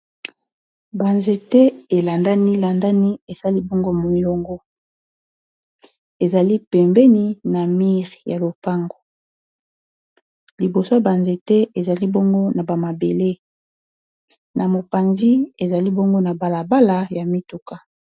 Ba nzete elandani landani esali bongo molongo ezali pembeni na mur ya lopango liboso ya banzete ezali bongo na bamabele na mopanzi ezali bongo na balabala ya mituka